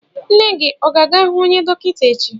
Nne gị ọ ga-ahụ onye dọkịta echi?